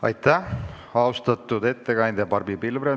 Aitäh, austatud ettekandja Barbi Pilvre!